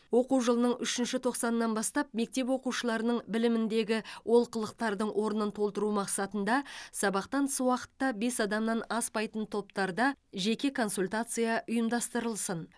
оқу жылының үшінші тоқсанынан бастап мектеп оқушыларының біліміндегі олқылықтардың орнын толтыру мақсатында сабақтан тыс уақытта бес адамнан аспайтын топтарда жеке консультация ұйымдастырылсын